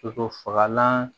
Sogo fagalan